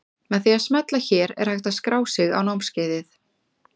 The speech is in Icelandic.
Með því að smella hér er hægt að skrá sig á námskeiðið.